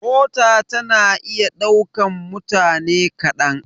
Mota tana iya ɗaukan mutane kaɗan.